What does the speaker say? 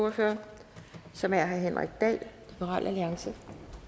ordfører som er herre henrik dahl liberal alliance